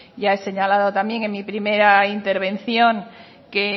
ya he señalado también en mi primera intervención que